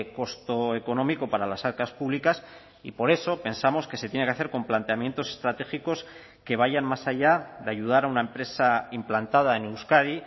costo económico para las arcas públicas y por eso pensamos que se tiene que hacer con planteamientos estratégicos que vayan más allá de ayudar a una empresa implantada en euskadi